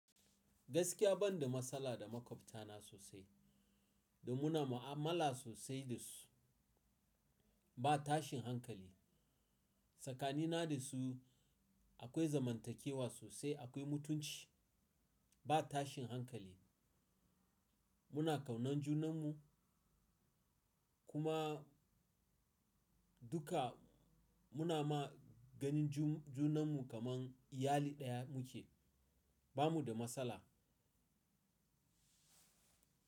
Gaskiya ban da matsala da makwabtana sosai, dan muna ma'amala sosai da su. Ba tashin hankali. Tsakani na da su akwai zamantakewa sosai, akwai mutunci, ba tashin hankali. Muna kaunan junan mu kuma duka muna ma ganin ju-junan mu kaman iyali daya muke. Ba mu da matsala.